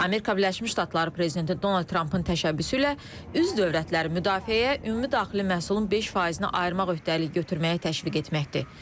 Amerika Birləşmiş Ştatları prezidenti Donald Trampın təşəbbüsü ilə üzv dövlətləri müdafiəyə ümumi daxili məhsulun 5%-ni ayırmaq öhdəliyi götürməyə təşviq etməkdir.